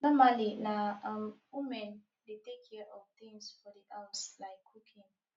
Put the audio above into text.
normally na um woman dey take care of things for di house like cooking